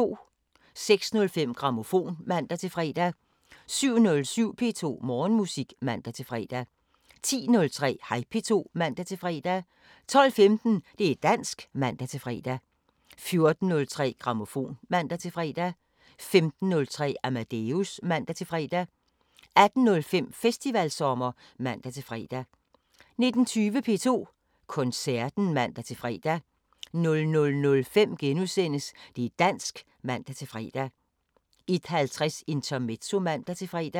06:05: Grammofon (man-fre) 07:07: P2 Morgenmusik (man-fre) 10:03: Hej P2 (man-fre) 12:15: Det´ dansk (man-fre) 14:03: Grammofon (man-fre) 15:03: Amadeus (man-fre) 18:05: Festivalsommer (man-fre) 19:20: P2 Koncerten (man-fre) 00:05: Det´ dansk *(man-fre) 01:50: Intermezzo (man-fre)